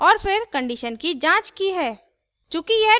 और फिर condition की जांच की है